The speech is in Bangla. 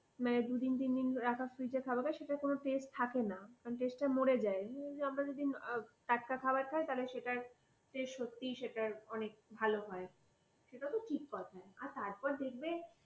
মানে দুদিন তিনদিন একা fridge থাকবে সেটার কোন taste থাকে না, মানে taste টা মরে যায়। আমরা যদি টাটকা খাওয়ার খায় তাহলে সেটা taste অনেক ভালো হয়। সেটা তো ঠিক কথা। তারপর দেখবে,